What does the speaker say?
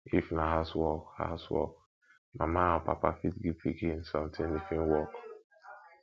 if na house work house work mama or papa fit give pikin something if im work